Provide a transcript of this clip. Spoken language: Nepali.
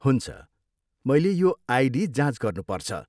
हुन्छ, मैले यो आइडी जाँच गर्नुपर्छ।